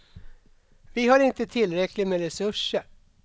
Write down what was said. Vi har inte tillräckligt med resurser.